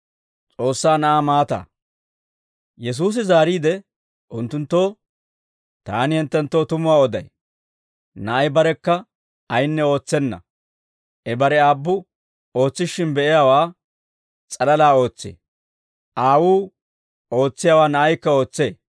Yesuusi zaariide unttunttoo, «Taani hinttenttoo tumuwaa oday; Na'ay barekka ayinne ootsenna. I bare Aabbu ootsishshin be'iyaawaa s'alalaa ootsee; Aawuu ootsiyaawaa Na'aykka ootsee.